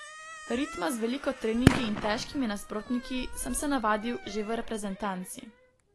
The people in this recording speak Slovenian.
Ritma z veliko treningi in težkimi nasprotniki sem se navadil že v reprezentanci.